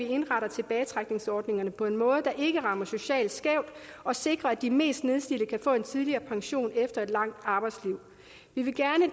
indretter tilbagetrækningsordningerne på en måde der ikke rammer socialt skævt og sikrer at de mest nedslidte kan få en tidligere pension efter et langt arbejdsliv vi vil